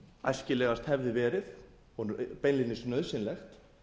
æskilegast hefði verið og beinlínis nauðsynlegt